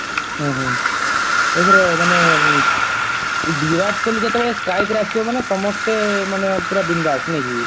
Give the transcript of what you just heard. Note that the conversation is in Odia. ଓହୋ ଏଥର ମାନେ ବିରାଟ କୋହଲୀ ଯେତେବେଳେ strike ରେ ଆସିବ ମାନେ ସମସ୍ତେ ମାନେ ପୁରା ବିନ୍ଦାସ୍